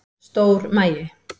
Stór magi